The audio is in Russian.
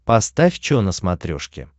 поставь чо на смотрешке